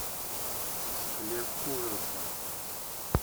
склеп ужаса